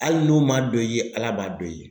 Hali n'o man dɔn i ye Ala b'a dɔn i ye.